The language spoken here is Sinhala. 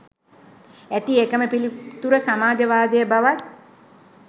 ඇති එකම පිළිතුර සමාජවාදය බවත්